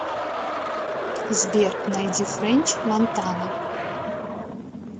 сбер найди фрэнч монтана